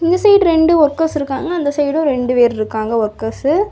இந்த சைடு ரெண்டு ஒர்க்கர்ஸ் இருக்காங்க அந்த சைடும் ரெண்டு பேர் இருக்காங்க ஒர்க்கர்ஸ் .